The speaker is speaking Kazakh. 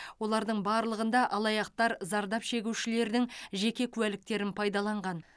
олардың барлығында алаяқтар зардап шегушілердің жеке куәліктерін пайдаланған